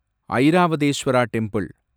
Airavatesvara temple